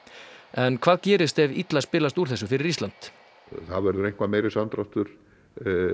en hvað gerist ef illa spilast úr þessu fyrir Ísland það verður eitthvað meiri samdráttur